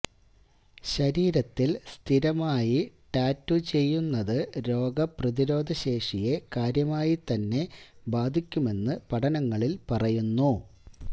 ശരീരത്തില് സ്ഥിരമായി ടാറ്റൂ ചെയ്യുന്നത് രോഗപ്രതിരോധ ശേഷിയെ കാര്യമായിതന്നെ ബാധിക്കുമെന്ന് പഠനങ്ങളില് പറയുന്നു